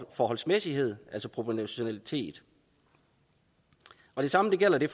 forholdsmæssighed altså proportionalitet det samme gælder det